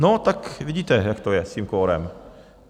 No tak vidíte, jak to je s tím kvorem.